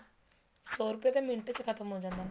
ਸੋ ਰੁਪਇਆ ਤਾਂ ਮਿੰਟ ਚ ਖ਼ਤਮ ਹੋ ਜਾਂਦਾ ਹੈਗਾ